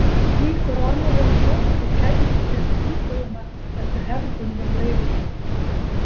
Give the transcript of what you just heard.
Slíkur og annar eins sófi kæmist ekki upp í íbúðina eftir hefðbundnum leiðum.